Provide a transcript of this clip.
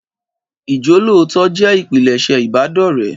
Ìjólootọ jẹ́ ìpilẹ̀ṣẹ̀ ìbádọ̀rẹ́